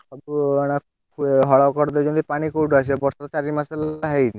ହଳ କରିଦେଇଛନ୍ତି ପାଣି କଉଠୁ ଆସିବ ବର୍ଷା ତ ଚାରି ମାସେ ହେଲା ହେଇନି।